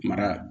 Mara